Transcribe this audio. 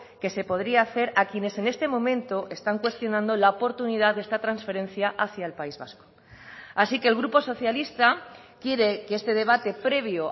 que se podría hacer a quienes en este momento están cuestionando la oportunidad de esta transferencia hacia el país vasco así que el grupo socialista quiere que este debate previo